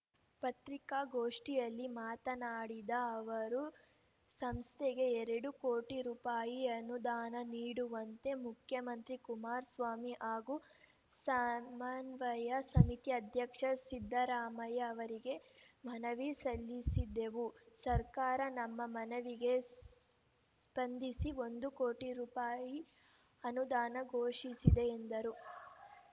ಪತ್ರಿಕಾಗೋಷ್ಠಿಯಲ್ಲಿ ಮಾತನಾಡಿದ ಅವರು ಸಂಸ್ಥೆಗೆ ಎರಡು ಕೋಟಿ ರೂಪಾಯಿ ಅನುದಾನ ನೀಡುವಂತೆ ಮುಖ್ಯಮಂತ್ರಿ ಕುಮಾರಸ್ವಾಮಿ ಹಾಗೂ ಸಮನ್ವಯ ಸಮಿತಿ ಅಧ್ಯಕ್ಷ ಸಿದ್ದರಾಮಯ್ಯ ಅವರಿಗೆ ಮನವಿ ಸಲ್ಲಿಸಿದ್ದೆವು ಸರ್ಕಾರ ನಮ್ಮ ಮನವಿಗೆ ಸ್ಪಂದಿಸಿ ಒಂದು ಕೋಟಿ ರೂಪಾಯಿ ಅನುದಾನ ಘೋಷಿಸಿದೆ ಎಂದರು